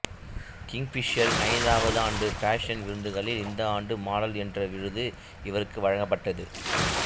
கிங்க்ஃபிஷரின் ஐந்தாவது ஆண்டு பாஷன் விருதுகளில் இந்த ஆண்டு மாடல் என்ற விருது இவருக்கு வழங்கப்பட்டது